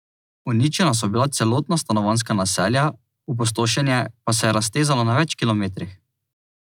Uničena so bila celotna stanovanjska naselja, opustošenje pa se je raztezalo na več kilometrih.